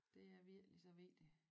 Det er virkelig så vigtig